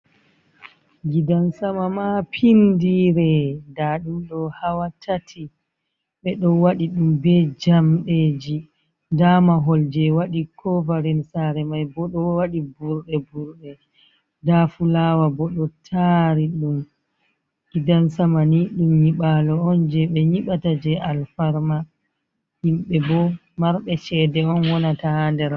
Gidan sama mapindire nda nduɗo hawa tati ɓe ɗo waɗi ɗum be jamɗeji nda mahol je wadi kovarin sare mai bo ɗo wadi burɗe burɗe nda fulawa bo ɗo tari ɗum gidan sama ni ɗum nyibalo on je ɓe nyiɓata je alfarma himɓe bo marɓe chede on waɗata ha der.